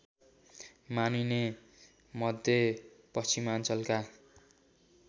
मानिने मध्य पश्चिमाञ्चलका